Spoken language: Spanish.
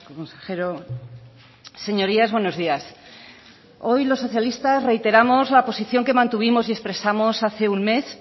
consejero señorías buenos días hoy los socialistas reiteramos la posición que mantuvimos y expresamos hace un mes